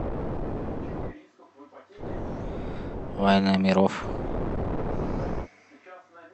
война миров